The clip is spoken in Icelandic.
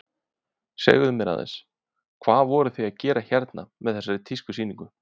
Segðu mér aðeins, hvað voruð þið að gera hérna með þessari tískusýningu?